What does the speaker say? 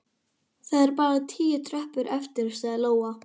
Það eru bara tíu tröppur eftir, sagði Lóa.